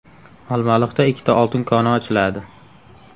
Olmaliqda ikkita oltin koni ochiladi .